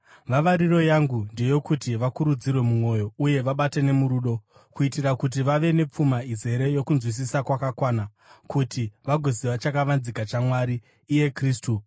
Vavariro yangu ndeyokuti vakurudzirwe mumwoyo uye vabatane murudo, kuitira kuti vave nepfuma izere yokunzwisisa kwakakwana, kuti vagoziva chakavanzika chaMwari, iye Kristu,